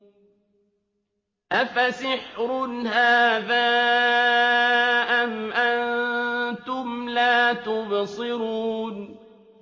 أَفَسِحْرٌ هَٰذَا أَمْ أَنتُمْ لَا تُبْصِرُونَ